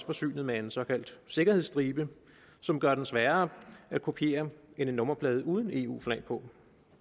forsynet med en såkaldt sikkerhedsstribe som gør den sværere at kopiere end en nummerplade uden eu flag på